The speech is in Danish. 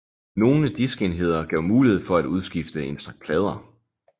Nogle diskenheder gav mulighed for at udskifte en stak plader